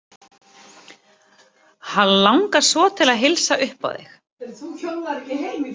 Hann langar svo til að heilsa upp á þig!